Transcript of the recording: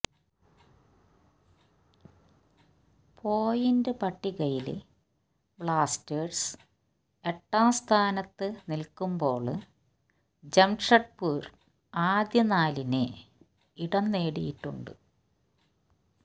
point പട്ടികയില് Blasters എട്ടാം സ്ഥാനത്ത് നില്ക്കുമ്പോള് ജംഷഡ്പൂര് ആദ്യനാലില് ഇടം നേടിയിട്ടുണ്ട്